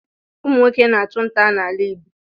Ụmụ nwoke na-achụ ntá n'ala Igbo.